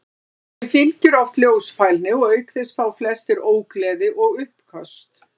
Þeim fylgir oft ljósfælni og auk þess fá flestir ógleði og uppköst.